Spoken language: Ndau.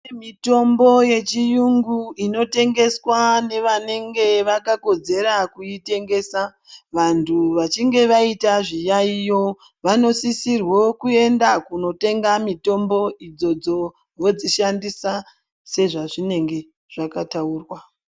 Mitombo yechiyungu inotengeswa nevanenge vakakodzera kuitengesa vantu vachinge vaita zviyaiyo vanosisirwo kuenda kunotenga mitombo idzodzo vodzishandisa sezvazvinenge zvakataurwa.